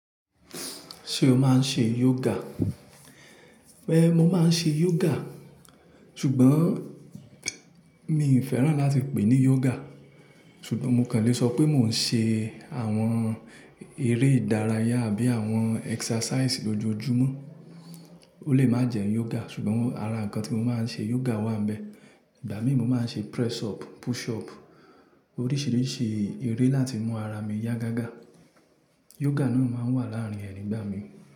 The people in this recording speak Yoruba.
Ṣé o máa ń ṣe yoga? Ẹ́ẹ̀, mo máa ń ṣe yoga. Ṣùgbọ́n mí ì fẹ́ràn láti pè é ní yoga. Ṣùgbọ́n mo kàn lè sọ pé mò ń ṣe àwọn eré ìdárayá àbí àwọn exercise lójoojúmọ́. Ó lè má jẹ́ yoga, ṣùgbọ́n ara ǹkan tí mo máa ń ṣe yoga wà ń íbẹ̀. Ìgbà mí mo máa ń ṣe press up, push up, oríṣìíríṣìí eré láti mú ara mi yá gágá. Yoga náà máa ń wà láàárín ẹ nígbà mí.